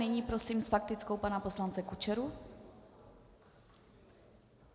Nyní prosím s faktickou pana poslance Kučeru.